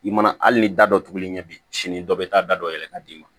I mana hali ni da dɔ turu i ɲɛ bi sini dɔ bɛ taa da dɔ yɛlɛ ka d'i ma